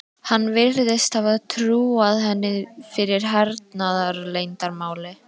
Hann virðist hafa trúað henni fyrir hernaðarleyndarmáli.